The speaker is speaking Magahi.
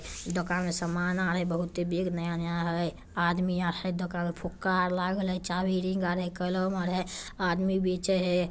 दुकान में सामान हय। बहुते बैग नया नया है। आदमी आहे दुकान में फुग्गा अ लागल है चाबी रिंग अने कलर मारे है। आदमी बीचा में है।